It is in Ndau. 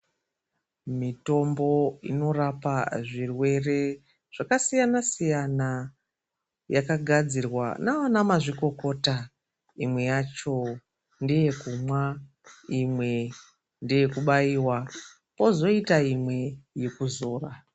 Mitombo inorapa zvirwere zvakasiyana-siyana yakagadzirwa navana mazvikokota, imwe yacho ndeyekumwa, imwe ndeye kubayiwa kozoyita imwe yekuzora.